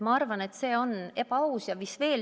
Ma arvan, et see on ebaaus.